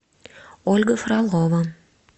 ольга фролова